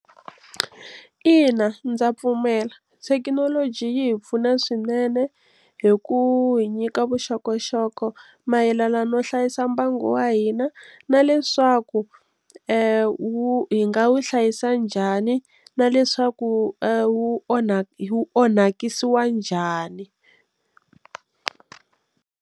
Ina, ndza pfumela thekinoloji yi hi pfuna swinene hi ku hi nyika vuxokoxoko mayelana no hlayisa mbangu wa hina na leswaku wu hi nga hlayisa njhani na leswaku wu onhaku onhakisiwa njhani.